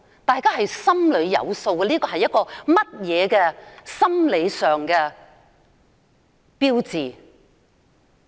大家心中有數，這是甚麼心理上的標誌。